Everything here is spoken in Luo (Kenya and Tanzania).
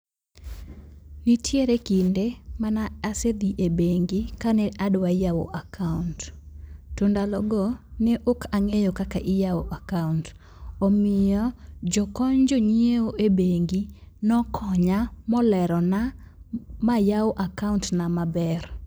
Nitiere kinde mane asedhi e bengi kane adwa yawo akaont. To ndalogo ne ok ang'eyo kaka iyaw akaont. Omiyo jokony jonyiew e bengi nokonya molerona ma ayaw akaot na maber.